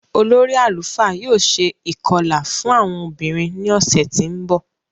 Ólu àlufá yóò ṣe ikọla fun awọn obinrin ni ọsẹ ti nbọ.